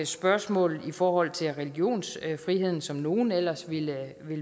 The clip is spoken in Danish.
spørgsmål i forhold til religionsfriheden som nogle ellers ville